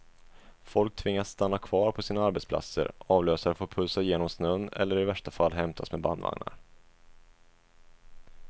Folk tvingas stanna kvar på sina arbetsplatser, avlösare får pulsa genom snön eller i värsta fall hämtas med bandvagnar.